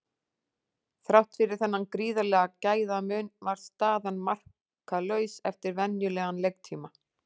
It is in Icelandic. Þrátt fyrir þennan gríðarlega gæðamun var staðan markalaus eftir venjulegan leiktíma.